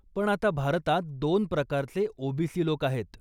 पण आता भारतात दोन प्रकारचे ओबीसी लोक आहेत.